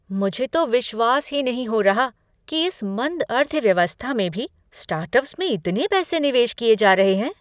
मुझे तो विश्वास ही नहीं हो रहा कि इस मंद अर्थव्यवस्था में भी स्टार्टअप्स में इतने पैसे निवेश किए जा रहे हैं।